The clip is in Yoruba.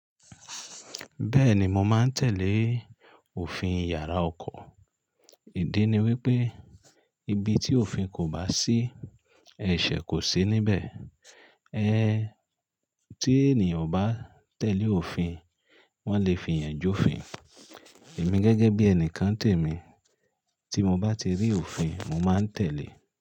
Bẹ́ẹ̀ni, mo máa ń tẹ̀lé òfin yàrá oko. Ìdí ni wípé ibi tí òfin kò bá sí, ẹ̀ṣẹ̀ kò sí níbẹ̀. Ẹ̀n tí ènìyàn ò bá tẹ̀lé òfin, wón lè fi ìyànjú fín. Èmi gẹ́gẹ́ bí ẹnìkan tèmi, tí mo bá ti rí òfin, mo máa ń tẹ̀lé.